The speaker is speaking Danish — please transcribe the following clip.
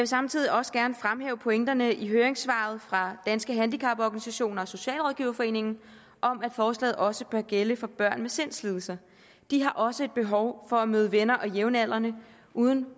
samtidig også gerne fremhæve pointerne i høringssvaret fra danske handicaporganisationer socialrådgiverforening om at forslaget også bør gælde for børn med sindslidelser de har også et behov for at møde venner og jævnaldrende uden